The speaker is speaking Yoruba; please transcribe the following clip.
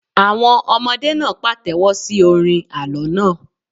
Àwọn ọmọdé náà pàtẹ́wọ́ sí orin àlọ́ náà.